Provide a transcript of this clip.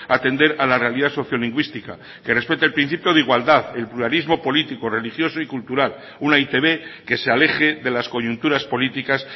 atender a la realidad sociolingüística que respete el principio de igualdad el pluralismo político religioso y cultural una e i te be que se aleje de las coyunturas políticas